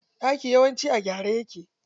Ɗaki yawanci a gyare yake.